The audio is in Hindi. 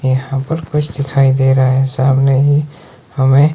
यहां पर कुछ दिखाई दे रहा है सामने ही हमें--